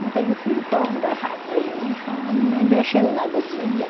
Não tenho filho para andar atrás de mim chorando, nem mexendo nada de ninguém.